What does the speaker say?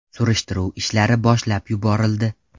Surishtiruv ishlari boshlab yuborildi.